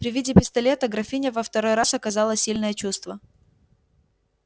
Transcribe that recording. при виде пистолета графиня во второй раз оказала сильное чувство